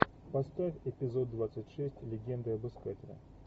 поставь эпизод двадцать шесть легенды об искателе